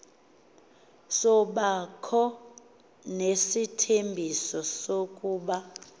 sabakho nesithembiso sokuba